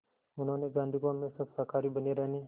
उन्होंने गांधी को हमेशा शाकाहारी बने रहने